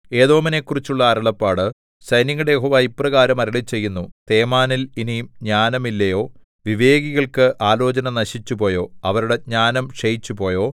ഏദോമിനെക്കുറിച്ചുള്ള അരുളപ്പാട് സൈന്യങ്ങളുടെ യഹോവ ഇപ്രകാരം അരുളിച്ചെയ്യുന്നു തേമാനിൽ ഇനി ജ്ഞാനമില്ലയോ വിവേകികൾക്ക് ആലോചന നശിച്ചുപോയോ അവരുടെ ജ്ഞാനം ക്ഷയിച്ചുപോയോ